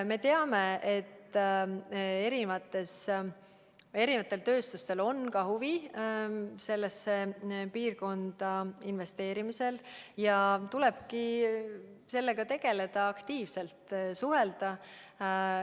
Me teame, et erinevatel tööstustel on ka huvi sellesse piirkonda investeerida, ja tulebki sellega aktiivselt tegeleda.